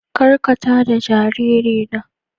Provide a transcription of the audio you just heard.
ƙar ka taɗa jaririna.